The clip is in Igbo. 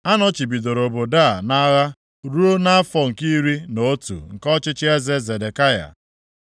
Anọchibidoro obodo a nʼagha ruo nʼafọ nke iri na otu nke ọchịchị eze Zedekaya.